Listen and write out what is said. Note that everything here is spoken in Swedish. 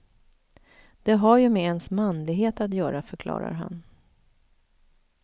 Det har ju med ens manlighet att göra, förklarar han.